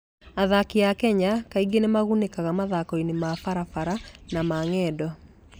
Athaki a Kenya kaingĩ nĩ magunĩkaga mathaako-inĩ ma barabara na ma ng'endo.